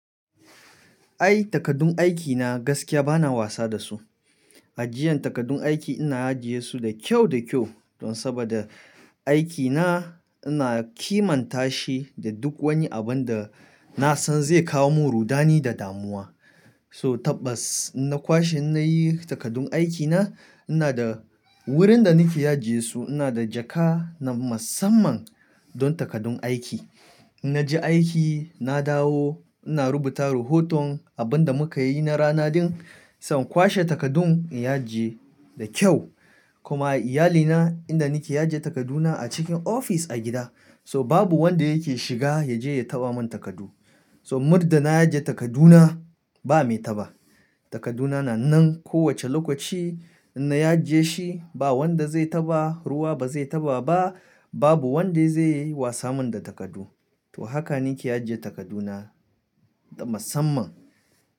Ai takardun aikina gaskiya bana wasa da su. Ajiyan takardun aiki ina ajiye su da kyau da kyau don saboda aikina ina kimantashi da duk wani abin da na san zai kawo min rudani da damuwa. To tabbas in na kwashe nayi takardun aikina ina da wurin da nake ajiye su ina da jaka na musamman don takardun aiki. In naji aiki na dawo ina rubuta rahoton abin da muka yi na rana din, sannan kwashe takardun in ajiye da kyau. Kuma iyalina inda nake ajiye takarduna a cikin ofis a gida so babu wanda yake shiga yaje ya taba min takardu. So muddin na ajiye takarduna ba mai taba. Takarduna na nan ko wacce lokaci in na ajiye shi ba wanda zai taba, ruwa ba zai taba ba, babu wanda zai yi min wasa da takardu. To haka nake ajiye takarduna da musamman.